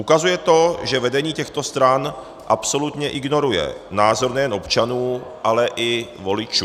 Ukazuje to, že vedení těchto stran absolutně ignoruje názor nejen občanů, ale i voličů.